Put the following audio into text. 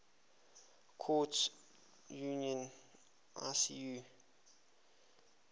courts union icu